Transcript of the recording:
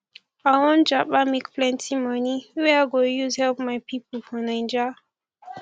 i wan japa make plenty money wey i go use help my pipo for naija